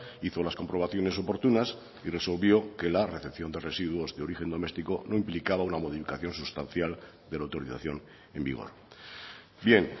hizo las comprobaciones oportunas y resolvió que la recepción de residuos de origen domestico no implicaba una modificación sustancial de la autorización en vigor bien